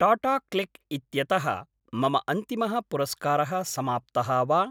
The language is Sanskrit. टाटाक्लिक् इत्यतः मम अन्तिमः पुरस्कारः समाप्तः वा?